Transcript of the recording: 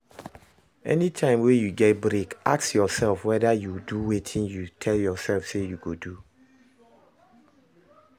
Anytime wey you get break ask yourself whether you dey do wetin you tell yourself say you go do